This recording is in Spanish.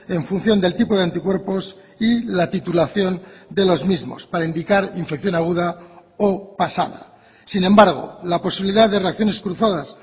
en función del tipo de anticuerpos y la titulación de los mismos para indicar infección aguda o pasada sin embargo la posibilidad de reacciones cruzadas